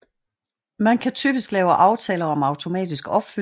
Man kan typisk lave aftaler om automatisk opfyldning